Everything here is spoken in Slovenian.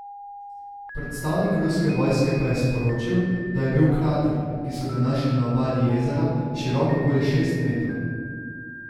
Predstavnik ruske vojske pa je sporočil, da je bil krater, ki so ga našli na obali jezera, širok okoli šest metrov.